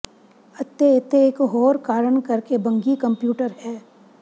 ਅਤੇ ਇੱਥੇ ਇਕ ਹੋਰ ਕਾਰਨ ਕਰਕੇ ਬੱਘੀ ਕੰਪਿਊਟਰ ਹੈ